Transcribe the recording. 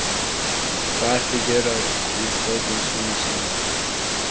Hvað ertu að gera á fótum svona snemma?